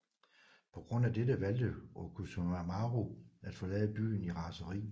På grund af dette valgte Orochimaru at forlade byen i raseri